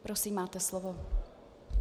Prosím, máte slovo.